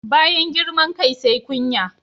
Bayan girman kai sai kunya.